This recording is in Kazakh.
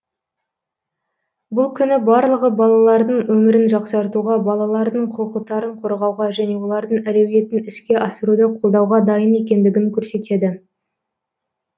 бұл күні барлығы балалардың өмірін жақсартуға балалардың құқықтарын қорғауға және олардың әлеуетін іске асыруды қолдауға дайын екендігін көрсетеді